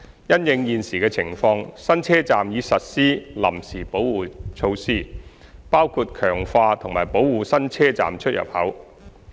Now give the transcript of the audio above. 因應現時情況，新車站已實施臨時保護措施，包括強化及保護新車站出入口。